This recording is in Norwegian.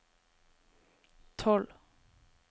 tolv